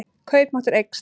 Kaupmáttur eykst